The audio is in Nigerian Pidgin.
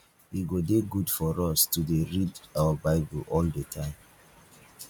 e go dey good for us to dey read our bible all the time